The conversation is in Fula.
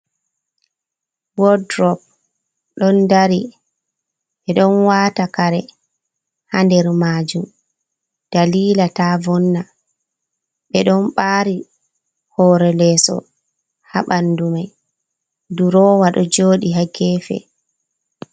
Wodurop ɗon dari, ɓe ɗon wata kare haa nder majum dalila ta vonna, ɓe ɗon ɓari hore leeso haa ɓandu mai. Durowa ɗo joɗi haa gefe.